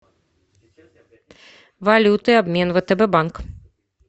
валюты обмен втб банк